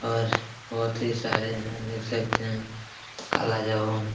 और बहोत ही सारे हैं देख सकते हैं कालाजामुन।